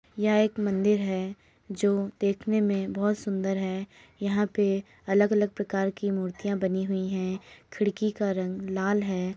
एक मंदिर है जो देखने में बहोत सुंदर है यहाँ पे अलग-अलग प्रकार की मूर्तियाँ बनी हुई हैं खिड़की का रंग लाल है।